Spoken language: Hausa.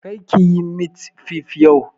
Kar ki yi mit fif yau!